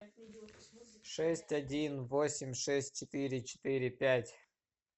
шесть один восемь шесть четыре четыре пять